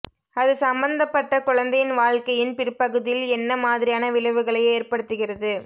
அது சம்பந்தப்பட்ட குழந்தையின் வாழ்க்கையின் பிற்பகுதியில் என்ன மாதிரியான விளைவுகளை ஏற்படுத்துகிறது